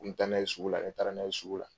N bɛ taa n'a ye sugu la ni n taara n'a ye sugu la.